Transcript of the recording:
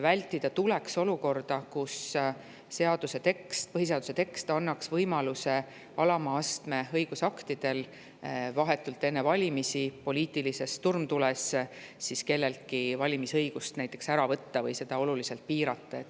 Vältida tuleks olukorda, kus põhiseaduse tekst annaks võimaluse alama astme õigusaktidega vahetult enne valimisi poliitilises turmtules kelleltki valimisõigust ära võtta või seda oluliselt piirata.